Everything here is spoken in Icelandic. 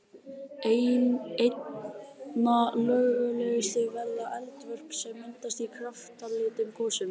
Einna lögulegust verða eldvörp sem myndast í kraftlitlum gosum.